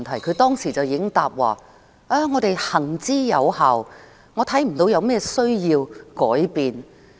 她當時已經答稱："有關政策行之有效，我看不到有甚麼需要改變。